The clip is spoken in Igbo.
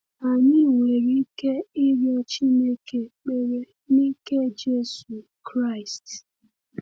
Anyị nwere ike ịrịọ Chineke ekpere n’ike Jésù Kraịst.